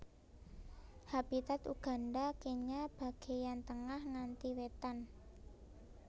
Habitat Uganda Kenya bagéyan tengah nganti wétan